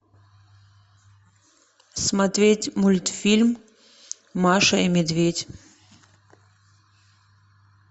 смотреть мультфильм маша и медведь